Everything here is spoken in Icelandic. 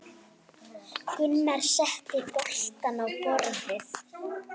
Gunnar setti bollana á borðið.